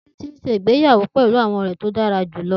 Titi n ṣe igbeyawo pẹlu ọrẹ rẹ ti o dara julọ